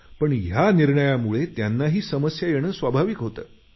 पण या निर्णयामुळे त्यांनाही समस्या येणे स्वाभाविक होतं